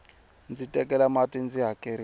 ndzi kelela mati ndzi hakeriwa